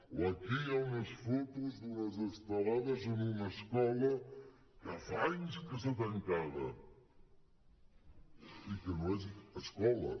o aquí hi ha unes fotos d’unes estelades en una escola que fa anys que està tancada i que no és escola